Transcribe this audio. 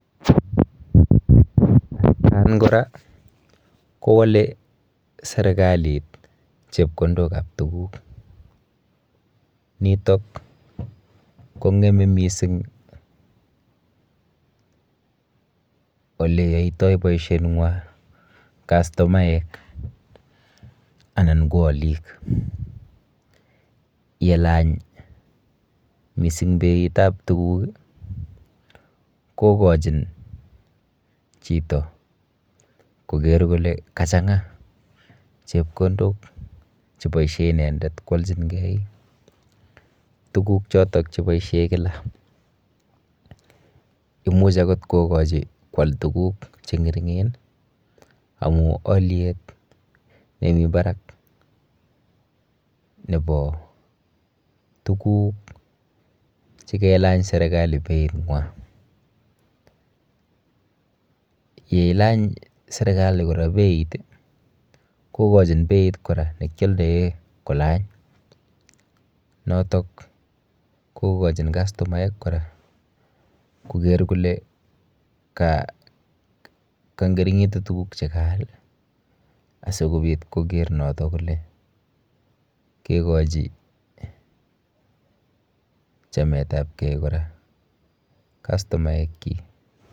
atkan kora, kowole serikalit chepkondokap tuguk. Nitok kowole mising oleyoitoi boisheng'wa castomaek anan ko alik. Yelany mising beitap tuguk kokochin chito koker kole kachang'a chepkondok cheboishe inendet kwolchingei tuguk chotok cheboishe kila. Imuch akot kokochi kwal tuguk cheng'ering'en amu alyet nemi barak nepo tuguk chekelany serekali being'wa. Yeilany serikali kora beit kokochin beit kora nekyoldoe kolany, notok kokochin castomaek kora koker kole kang'ering'itu tuguk chekaal asikoker noto kole kekochi chametapkei kora castomaekchi.